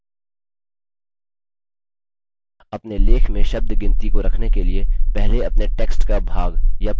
अपने लेख में शब्द गिनती को रखने के लिए पहले अपने text का भाग या पूरा document चुनें